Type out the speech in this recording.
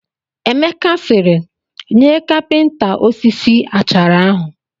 Emeka sịrị, nye kapịnta osisi achara ahụ